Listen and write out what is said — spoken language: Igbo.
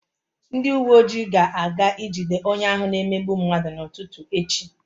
Ndị uwe ojii ga-aga ijide onye ahụ na-emegbu mmadụ n'ụtụtụ echi.